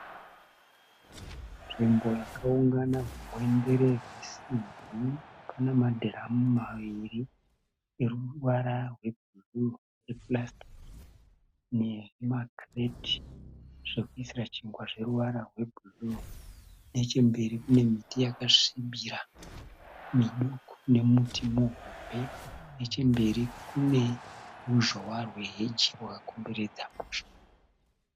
Nzvimbo yakaungana hugwendere hwe simbi pana madhiramu maviri eruvara rwe bhuruu e purasitiki nema kireti zvekuisira chingwa zvine ruvara rwe bhuruu. Nechemberi kune miti yakasvibira miduku, nemuti muhombe. Nechemberi, kune ruzhowa rwe heji rwakakomberedza musha.